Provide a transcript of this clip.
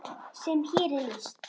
sem hér er lýst?